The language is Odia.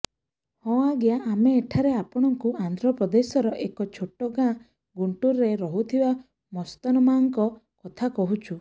ହଁ ଆଜ୍ଞା ଆମେ ଏଠାରେ ଆପଣଙ୍କୁ ଆନ୍ଧ୍ରପ୍ରଦେଶର ଏକ ଛୋଟ ଗାଁ ଗୁଣ୍ଟୁରରେ ରହୁଥିବା ମସ୍ତନମ୍ମାଙ୍କ କଥା କହୁଛୁ